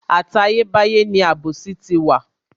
Àtayé báyé ni àbòsí ti wà.